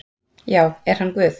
Já, er hann Guð?